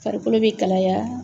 Farikolo bɛ kalaya.